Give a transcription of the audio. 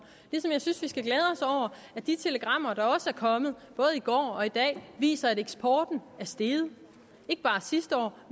at de telegrammer der også er kommet både i går og i dag viser at eksporten er steget ikke bare sidste år